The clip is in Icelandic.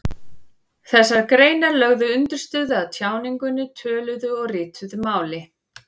Þessar greinar lögðu undirstöðu að tjáningunni, töluðu og ritaðu máli.